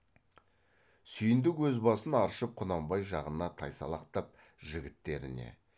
сүйіндік өз басын аршып құнанбай жағына тайсалақтап жігіттеріне